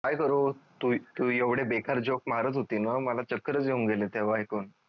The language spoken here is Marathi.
HI सरू तू तू एवढे बेकार जोक मारत होती न म चक्करस येऊन गेली तेव्हा ऐकून